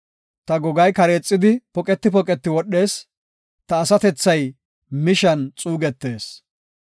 Ta gogay kareexidi poqeti poqeti wodhees; ta asatethay mishan xuugetees.